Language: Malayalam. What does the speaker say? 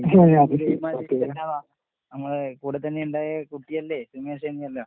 നമ്മളെ കൂടെത്തന്നെ ഇണ്ടായ കുട്ടിയല്ലേ സുമേഷ് നീയെല്ലാം.